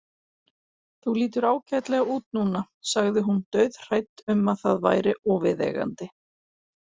Þú lítur ágætlega út núna, sagði hún dauðhrædd um að það væri óviðeigandi.